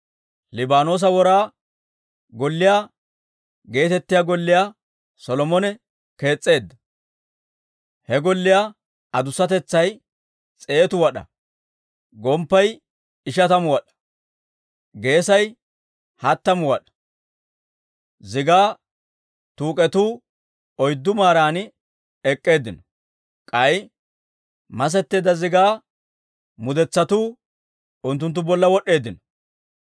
Liibaanoosa Wora Golliyaa geetettiyaa golliyaa Solomone kees's'eedda; he golliyaa adusatetsay s'eetu wad'aa; gomppay ishatamu wad'aa; geesay hattamu wad'aa. Zigaa tuuk'etuu oyddu maaran ek'k'eeddinno; k'ay masetteedda zigaa mudetsatuu unttunttu bolla wod'd'eeddino;